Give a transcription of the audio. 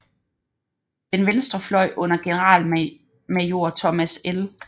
Den venstre fløj under generalmajor Thomas L